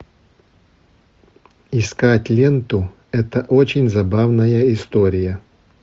искать ленту это очень забавная история